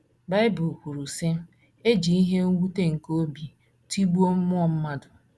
Bible kwuru, sị: "E ji ihe mwute nke obi tigbuo mmụọ mmadụ".